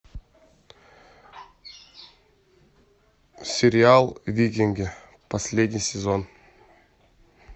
сериал викинги последний сезон